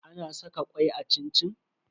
Ana saka kwai a cin-cin?